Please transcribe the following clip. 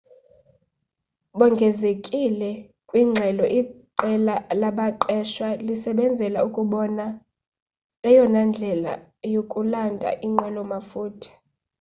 bongezile kwingxelo iqela labaqeshwa lisebenzela ukubona eyona ndlela yokulanda inqwelo mafutha